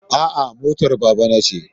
A'a motar babana ce.